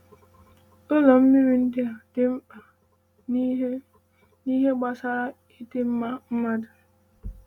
“‘Ụlọ mmiri’ ndị a dị mkpa n’ihe n’ihe gbasara ịdị mma mmadụ.”